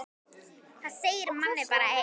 Það segir manni bara eitt.